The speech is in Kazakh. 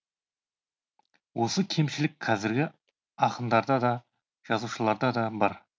осы кемшілік қазіргі ақындарда да жазушыларда да бар